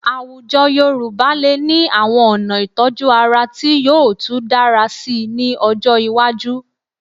Àwùjọ Yorùbá lè ní àwọn ọ̀nà ìtọ́jú ara tí yóò tú dára síi ní ọjọ́ iwájú